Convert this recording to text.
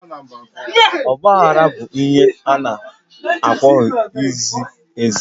Ọgbaghara bụ ihe a na-apụghị ize eze